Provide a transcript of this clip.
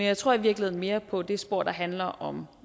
jeg tror i virkeligheden mere på det spor der handler om